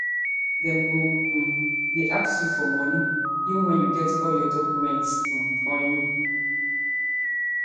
dem go um dey ask you for money even wen you get all your documents um on you